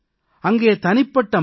நான் ஒரு கருவி தான்